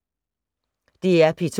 DR P2